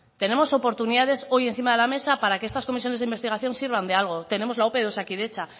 tenemos oportunidades hoy encima de la mesa para que estas comisiones de investigación sirvan de algo tenemos la ope de osakidetza